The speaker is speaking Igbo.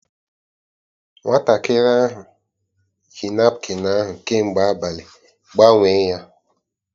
Nwatakịrị ahụ yi napkịn ahụ kemgbe abalị, gbanwee ya!